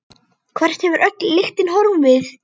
Hvert hefur öll lyktin horfið?